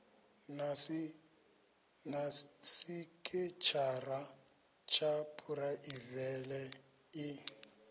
na sekitshara ya phuraivele i